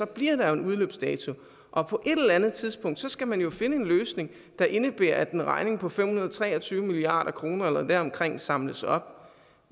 bliver der en udløbsdato og på et eller andet tidspunkt skal man jo finde en løsning der indebærer at en regning på fem hundrede og tre og tyve milliard kroner eller deromkring samles op